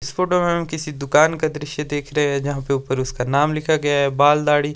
इस फोटो में हमें किसी दुकान का दृश्य देख रहे हैं जहां पे ऊपर उसका नाम लिखा गया है बाल दाढ़ी--